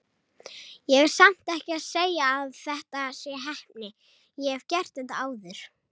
Ég er samt ekki að segja að þetta sé heppni, ég hef gert þetta áður.